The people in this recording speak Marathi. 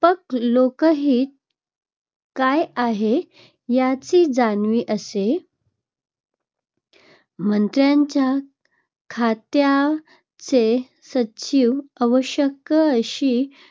पक लोकहित काय आहे याची जाणीव असते. मंत्र्याच्या खात्याचे सचिव आवश्यक अशी